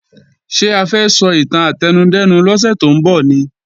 Ṣé a fẹ́ sọ ìtàn átẹnudẹ́nu lọ́sẹ̀ tó ń bọ̀ ni?